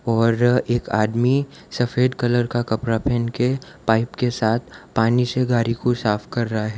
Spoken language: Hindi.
और एक आदमी सफेद कलर का कपड़ा पहन के पाइप के साथ पानी से गाड़ी को साफ कर रहा है।